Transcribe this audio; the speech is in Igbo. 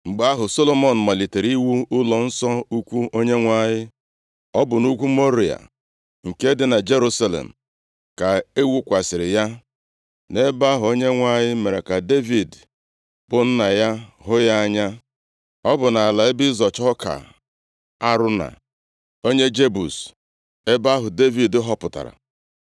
Mgbe ahụ, Solomọn malitere iwu ụlọnsọ ukwu Onyenwe anyị. Ọ bụ nʼugwu Mọrịa, nke dị na Jerusalem, ka e wukwasịrị ya, nʼebe ahụ Onyenwe anyị mere ka Devid bụ nna ya hụ ya anya. Ọ bụ nʼala ebe ịzọcha ọka Arauna, onye Jebus, ebe ahụ Devid họpụtara.